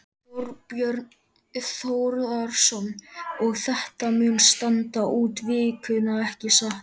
Þorbjörn Þórðarson: Og þetta mun standa út vikuna, ekki satt?